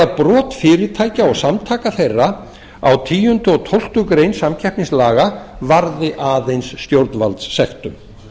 brot fyrirtækja og samtaka þeirra á tíunda og tólftu greinar varði aðeins stjórnvaldssektum